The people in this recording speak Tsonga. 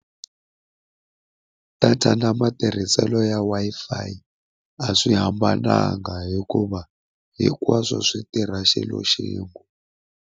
Data na matirhiselo ya Wi-Fi a swi hambananga hikuva hinkwaswo swi tirha xilo xin'we.